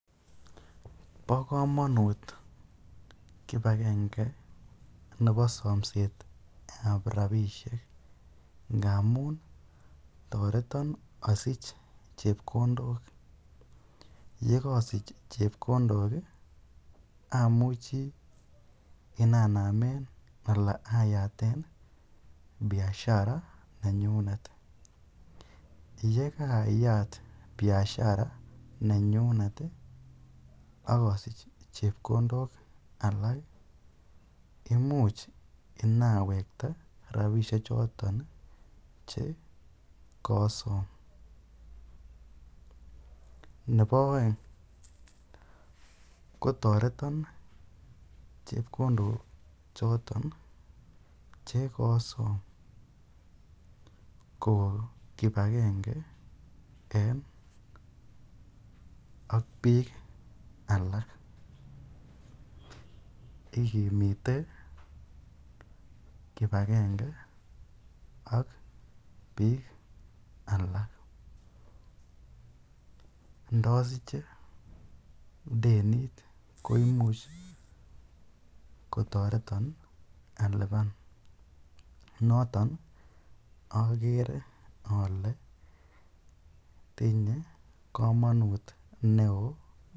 Bokomonut kibakenge nebo somsetab orabishek amun toreton asich chepkondok, yekosich chepkondok amuchi inyanemen alaa ayaten biiiashara nenyunet, yekaayat biashara nenyunet akosich chepkondok alak, imuch inyawekta rabishe choton che kosom, nebo oeng ko toreton chepkondo choton chekosom kokokibakenge en ak biik alak, ikimite kibakenge ak biik alak, ndosiche denit ko imuch kotoreton aliban noton akere olee tinye komonut neoo.